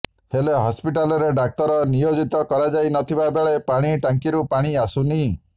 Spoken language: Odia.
ହେଲେ ହସ୍ପିଟାଲରେ ଡାକ୍ତର ନିୟୋଜିତ କରାଯାଇ ନଥିବା ବେଳେ ପାଣି ଟାଙ୍କିରୁ ପାଣି ଆସୁନି